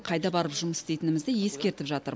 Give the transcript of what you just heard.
қайда барып жұмыс істейтінімізді ескертіп жатыр